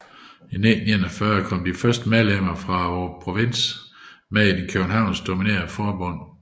I 1941 kom de første medlemmer fra provinsen med i det københavnsk dominerede forbund